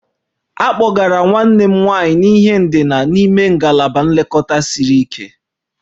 A kpọgara nwanne m nwanyị n'ihe ndina n'ime ngalaba nlekọta siri ike